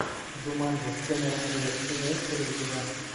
джуманджи с кэмерон диас имеется ли у тебя